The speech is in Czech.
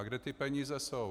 A kde ty peníze jsou?